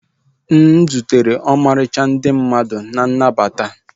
M zutere ọmarịcha ndị mmadụ na nnabata